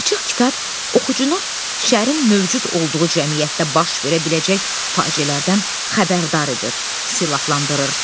Açıq kitab oxucunu şərin mövcud olduğu cəmiyyətdə baş verə biləcək faciələrdən xəbərdar edir, silahlandırır.